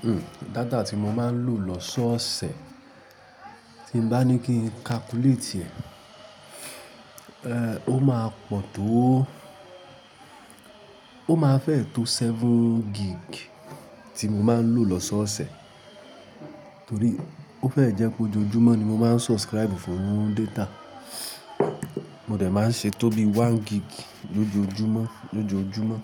Hmm, data tí mo máa ń lò lọ́sọ̀ọ̀sẹ̀ tí n bá ní kí n calculate rẹ̀, ó máa pọ̀ tó ó máa fẹ́ tó seven gig tí mo máa ń lò lọ́sọ̀ọ̀sẹ̀. Torí ó fẹ́ jẹ́ pé ojoojúmọ́ ni mo máa ń subscribe fún data. Mo dẹ̀ máa ń ṣe tóbi one gig lójoojúmọ́, lójoojúmọ́